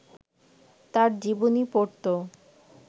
তাঁর জীবনী পড়ত